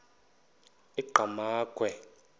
enqgamakhwe